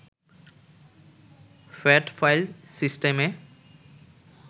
fat file সিস্টেমে